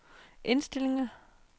indstillinger